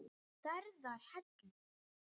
Stærðar hellir?